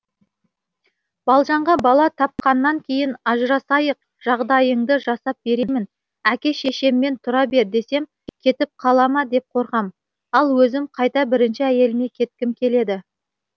балжанға бала тапқаннан кейін ажырасайық жағдайыңды жасап беремін әке шешеммен тұра бер десем кетіп қалама деп қорқам ал өзім қайта бірінші әйеліме кеткім келеді